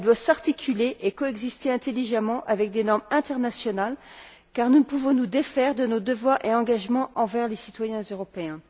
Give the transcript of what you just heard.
Elle doit s'articuler et coexister intelligemment avec des normes internationales, car nous ne pouvons nous défaire de nos devoirs et engagements envers les citoyens européens.